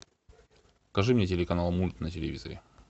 покажи мне телеканал мульт на телевизоре